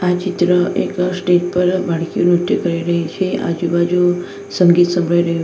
આ ચિત્ર એક સ્ટેજ પર બાળકીઓ નૃત્ય કરી રહી છે આજુબાજુ સંગીત સંભળાઈ રહ્યું છે.